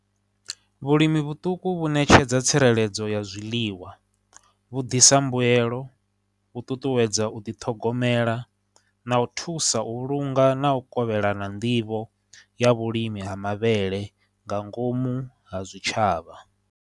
Vhulimi vhuṱuku vhu ṋetshedza tsireledzo ya zwiḽiwa, vhu ḓisa mbuelo, u ṱuṱuwedza u ḓi ṱhogomela, na u thusa u vhulunga, na u kovhelana nḓivho ya vhulimi ha mavhele nga ngomu ha zwitshavha.